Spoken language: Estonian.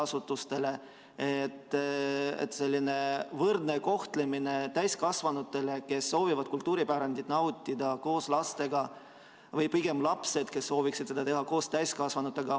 Seda selleks, et oleks tagatud võrdne kohtlemine täiskasvanutele, kes soovivad kultuuripärandit nautida koos lastega, või pigem lastele, kes sooviksid seda teha koos täiskasvanutega.